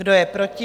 Kdo je proti?